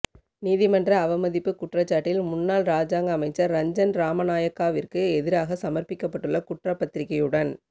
நீதிமன்ற அவமதிப்பு குற்றச்சாட்டில் முன்னாள் இராஜாங்க அமைச்சர் ரஞ்சன் ராமநாயக்கவிற்கு எதிராக சமர்ப்பிக்கப்பட்டுள்ள குற்றப்பத்திரிக்கையுடன்